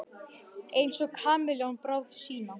Einsog kameljón bráð sína.